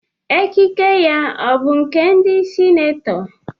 Ekike ya ọ bụ nke ndị senetọ?